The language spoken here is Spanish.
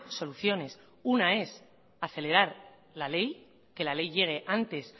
soluciones una es acelerar la ley que la ley llegue antes